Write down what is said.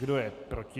Kdo je proti?